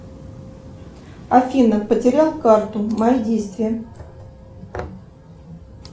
афина потерял карту мои действия